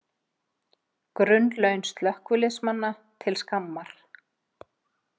Grunnlaun slökkviliðsmanna til skammar